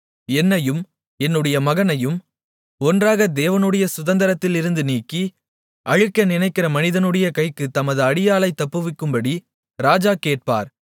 என்னையும் என்னுடைய மகனையும் ஒன்றாக தேவனுடைய சுதந்தரத்திலிருந்து நீக்கி அழிக்க நினைக்கிற மனிதனுடைய கைக்குத் தமது அடியாளை தப்புவிக்கும்படி ராஜா கேட்பார்